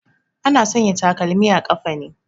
Ana sanya takalmi a ƙafa ne